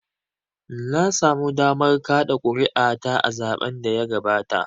Na samu damar kaɗa kuri'a ta a zaɓen da ya gabata.